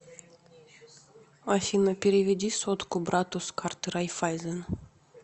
афина переведи сотку брату с карты райффайзен